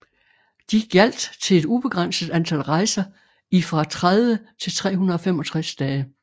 De gjaldt til et ubegrænset antal rejser i fra 30 til 365 dage